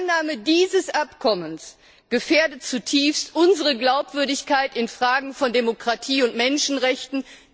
Die Annahme dieses Abkommens gefährdet zutiefst unsere Glaubwürdigkeit in Fragen von Demokratie und Menschenrechten.